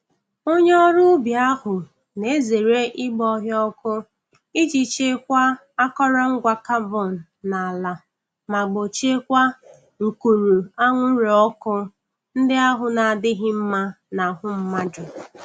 Onye ọrụ ubi ahụ na-ezere ịgba ọhịa ọkụ iji chekwa akọrọ ngwa carbon n'ala ma gbochiekwa nkuru anwụrụ ọkụ ndị ahụ n'adịghị mma n'ahụ mmadụ.